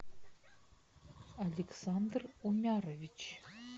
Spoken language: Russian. александр умярович